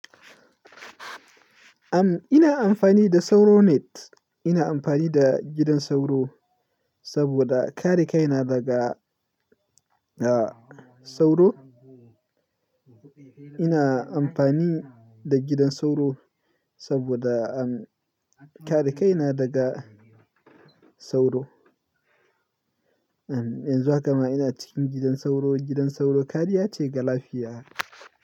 Am, ina amfani da sauro net. Ina amfani da gidan sauro saboda kare kaina daga, ah, sauro. Ina amfani da gidan sauro saboda, am, kare kaina daga sauro. Am, yanzu haka ma ina cikin gidan sauro. Gidan sauro kariya ce ga lafiya.